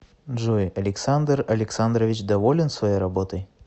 джой александр александрович доволен своей работой